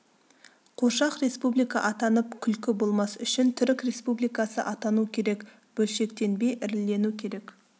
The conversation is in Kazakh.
қуыршақ республика атанып күлкі болмас үшін түрік республикасы атану керек бөлшектенбей ірілену керек